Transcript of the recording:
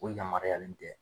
O yamaruyalen tɛ